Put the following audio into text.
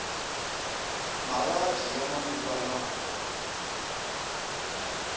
mavabyi ya manguva lawa